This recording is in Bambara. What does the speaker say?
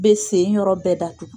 Bɛ sen yɔrɔ bɛɛ datugu